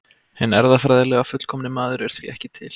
Hinn erfðafræðilega fullkomni maður er því ekki til.